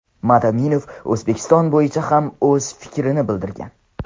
Madaminov O‘zbekiston bo‘yicha ham o‘z fikrini bildirgan.